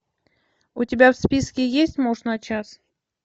у тебя в списке есть муж на час